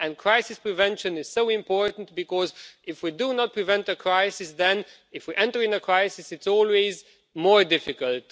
Crisis prevention is so important, because if we do not prevent a crisis, then if we enter into a crisis it's always more difficult.